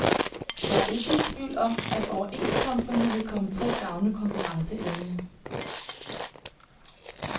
Jeg er ikke i tvivl om, at overenskomsterne vil komme til at gavne konkurrenceevnen.